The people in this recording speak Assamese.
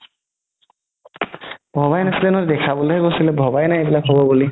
ভবাই নাছিলে ন দেখাবলৈ হে গৈছিলে ভবাই নাই এইবিলাক হ'ব বুলি